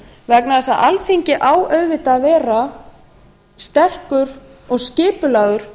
vegna þess að alþingi á auðvitað að vera sterkur og skipulegur